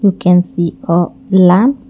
we can see a lamp.